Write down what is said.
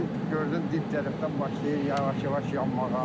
Gördüm dib tərəfdən başlayır yavaş-yavaş yanmağa.